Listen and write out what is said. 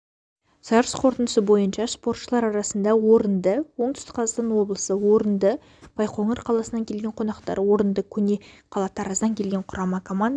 жарыс қорытындысы бойынша спортшылар арасында орынды оңтүстік қазақстан облысы орынды байқоңыр қаласынан келген қонақтар орынды көне қала тараздан келген құрама команда